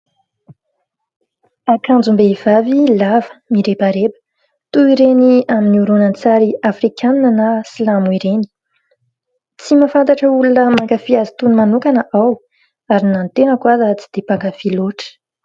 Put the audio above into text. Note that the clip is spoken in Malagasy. Akanjom-behivavy lava, mirebareba toy ireny amin'ny horonan-tsary Afrikana na Silamo ireny; tsy mahafantatra olona mankafy azy itony manokana aho, ary na ny tenako aza tsy dia mpankafy loatra.